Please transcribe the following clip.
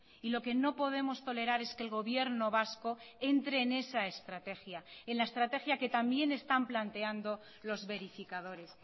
y lo que no podemos tolerar es que el gobierno vasco entre en esa estrategia en la estrategia que también están planteando los verificadores